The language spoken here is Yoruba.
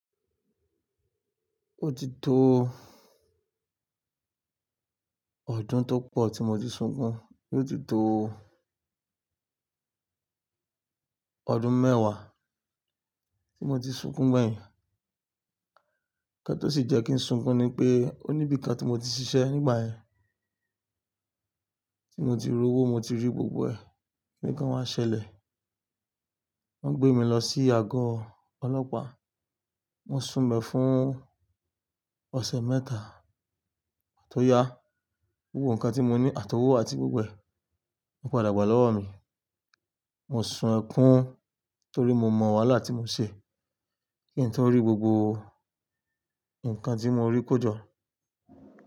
Ó ti tó ọdún tó pọ̀ tí mo ti sunkún, ó ti tó ọdún mẹ́wàá tí mo ti sunkún gbẹ̀yìn. Ǹkan tó sì jẹ́ kí n sunkún ni pé ó níbi kan tí mo ti ṣiṣẹ́ nígbà yẹn, tí mo ti ri owó, mo ti rí gbogbo ẹ̀, nǹkan wa ṣẹlẹ̀, wọ́n gbé mi lọ sí àgọ́ ọlọ́pàá, mọ́ sun be fún ọ̀sẹ̀ mẹ́ta tó yá. Gbogbo nǹkan tí mo ní, àtowó àti gbogbo ẹ̀, wọ́n padà gbà lọ́wọ́ mi. Mo sun ẹkún torí mo mọ̀ wáhalá ti mo ṣe kí ǹ to rí gbogbo nǹkan tí mo rí kọ jọ.